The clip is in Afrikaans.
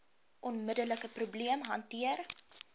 onmiddelike probleem hanteer